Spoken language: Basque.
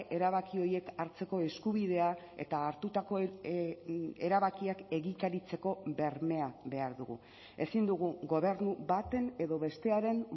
erabaki horiek hartzeko eskubidea eta hartutako erabakiak egikaritzeko bermea behar dugu ezin dugu gobernu baten edo bestearen